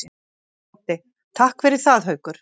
Broddi: Takk fyrir það Haukur.